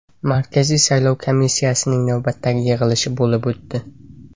Markaziy saylov komissiyasining navbatdagi yig‘ilishi bo‘lib o‘tdi.